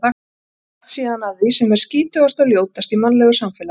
Og dragast síðan að því sem er skítugast og ljótast í mannlegu samfélagi.